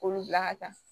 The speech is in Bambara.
K'olu bila ka taa